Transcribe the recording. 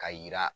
Ka yira